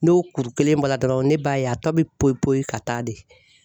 N'o kuru kelen bɔra dɔrɔnw ne b'a ye a tɔ bi poyi poyi ka taa de